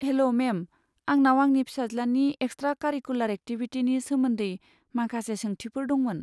हेल', ma'am, आंनाव आंनि फिसाज्लानि एक्सट्रा कारिकुलार एक्टिभिटिनि सोमोन्दै माखासे सोंथिफोर दंमोन।